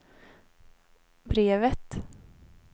brevet